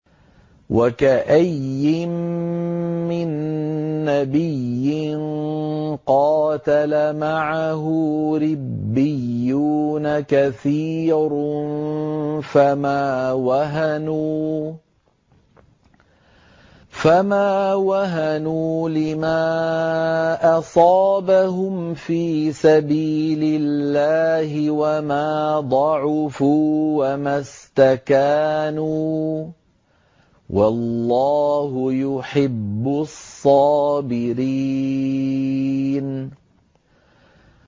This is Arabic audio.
وَكَأَيِّن مِّن نَّبِيٍّ قَاتَلَ مَعَهُ رِبِّيُّونَ كَثِيرٌ فَمَا وَهَنُوا لِمَا أَصَابَهُمْ فِي سَبِيلِ اللَّهِ وَمَا ضَعُفُوا وَمَا اسْتَكَانُوا ۗ وَاللَّهُ يُحِبُّ الصَّابِرِينَ